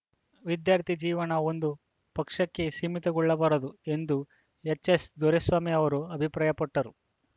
ವಿದ್ಯಾರ್ಥಿ ಜೀವನ ಒಂದು ಪಕ್ಷಕ್ಕೆ ಸೀಮಿತಗೊಳ್ಳಬಾರದು ಎಂದು ಎಚ್‌ಎಸ್‌ದೊರೆಸ್ವಾಮಿ ಅವರು ಅಭಿಪ್ರಾಯಪಟ್ಟರು